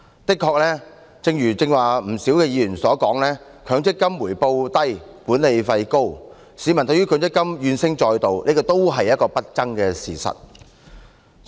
誠然，正如剛才不少議員所說，強制性公積金計劃回報低、管理費高，市民對於強積金怨聲載道，這亦是不爭的事實。